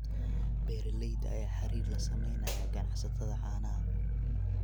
Beeralayda ayaa xiriir la sameynaya ganacsatada caanaha.